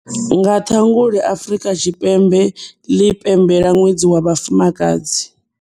Nga Ṱhangule Afrika Tshipembe ḽi pembelela Ṅwedzi wa Vhafumakadzi.